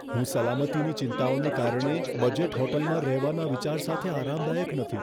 હું સલામતીની ચિંતાઓને કારણે બજેટ હોટલમાં રહેવાના વિચાર સાથે આરામદાયક નથી.